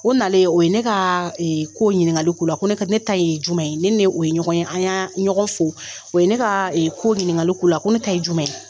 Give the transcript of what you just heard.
O na o ye ne ka ko ɲininkakali' la ne ka ne ta ye jumɛn ye ne o ye ɲɔgɔn ye an ye ɲɔgɔn fo o ye ne ka ko ɲininkakali la ko ne ta ye jumɛn ye